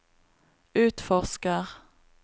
utforsker